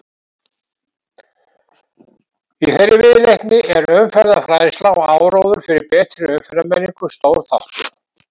Í þeirri viðleitni er umferðarfræðsla og áróður fyrir betri umferðarmenningu stór þáttur.